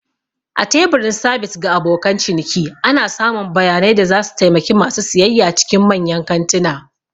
A teburin sabis ga abokan ciniki. ana samun bayanai da zasu taimaki ma su siyayya cikin manyan kantuna